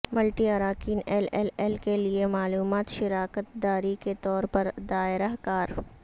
multi اراکین L L L کے لئے معلومات شراکت داری کے طور پر دائرہ کار